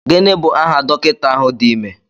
Gịnị bụ aha dọkịta ahụ dị ime?